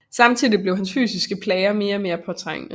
Samtidig blev hans fysiske plager mere og mere påtrængende